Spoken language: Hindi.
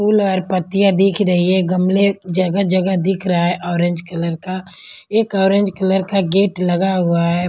फूल और पत्तियां दिख रही है गमले जगह-जगह दिख रहा है ऑरेंज कलर का एक ऑरेंज कलर का गेट लगा हुआ है।